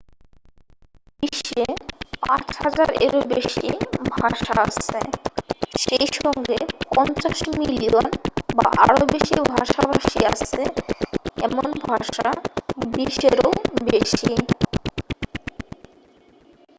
বিশ্বে 5000 এরও বেশি ভাষা আছে সেই সঙ্গে 50 মিলিয়ন বা আরও বেশি ভাষাভাষী আছে এমন ভাষা 20 এরও বেশি